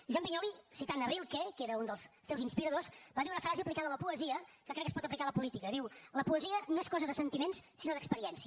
joan vinyols citant rilke que era un dels seus inspiradors va dir una frase aplicada a la poesia que crec que es pot aplicar a la política diu la poesia no és cosa de sentiments sinó d’experiència